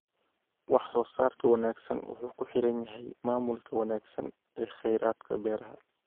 Wax soo saarka wanaagsan wuxuu ku xiran yahay maamulka wanaagsan ee kheyraadka beeraha.